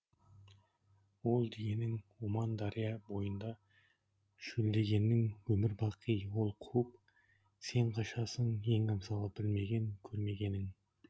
ол дегенің оман дария бойында шөлдегенің өмір бақи ол қуып сен қашасың ең абзалы білмеген көрмегенің